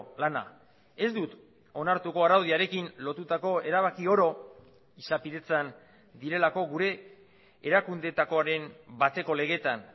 lana ez dut onartuko araudiarekin lotutako erabaki oro izapidetzan direlako gure erakundeetakoaren bateko legetan